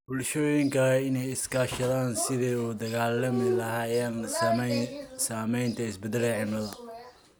Bulshooyinka waa in ay iska kaashadaan sidii ay ula dagaallami lahaayeen saamaynta isbeddelka cimilada.